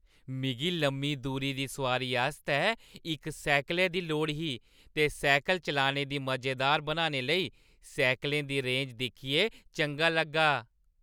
मिगी लम्मी दूरी दी सोआरी आस्तै इक साइकलै दी लोड़ ही ते साइकल चलाने गी मजेदार बनाने लेई साइकलें दी रेंज दिक्खियै चंगा लग्गा।